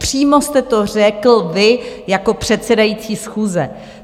Přímo jste to řekl vy jako předsedající schůze.